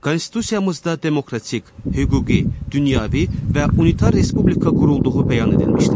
Konstitusiyamızda demokratik, hüquqi, dünyəvi və unitar respublika qurulduğu bəyan edilmişdir.